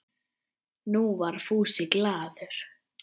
Nú var Fúsi glaður.